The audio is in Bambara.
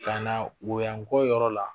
Kana woyanko yɔrɔ la